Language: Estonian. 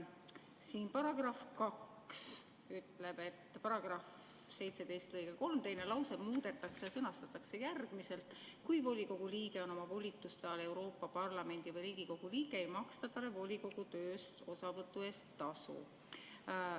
Siin § 2 ütleb, et § 17 lõike 3 teine lause muudetakse ja sõnastatakse järgmiselt: "Kui volikogu liige on oma volituste ajal Euroopa Parlamendi või Riigikogu liige, ei maksta talle volikogu tööst osavõtu eest tasu.